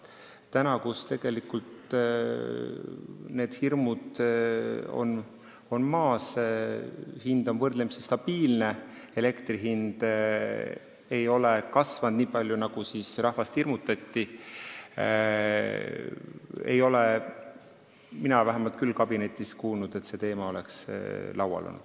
Täna, kui tegelikult need hirmud on maas, hind on võrdlemisi stabiilne, elektri hind ei ole kasvanud nii palju, kui rahvast hirmutati, ei ole mina vähemalt kabinetis küll kuulnud, et see teema oleks laual olnud.